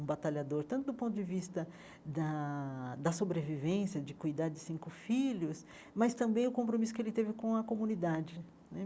um batalhador tanto do ponto de vista da da sobrevivência, de cuidar de cinco filhos, mas também do compromisso que ele teve com a comunidade né.